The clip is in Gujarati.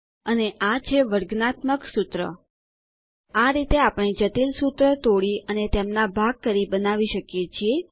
અને આ છે વર્ગાત્મક સૂત્ર આ રીતે આપણે જટિલ સૂત્રો તોડી અને તેમના ભાગ કરી બનાવી શકીએ છીએ